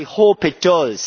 I hope it does.